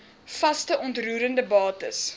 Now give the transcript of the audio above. vaste onroerende bates